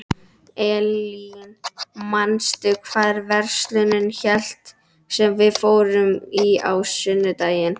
Eylín, manstu hvað verslunin hét sem við fórum í á sunnudaginn?